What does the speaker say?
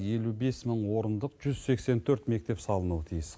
елу бес мың орындық жүз сексен төрт мектеп салынуы тиіс